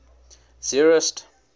zeerust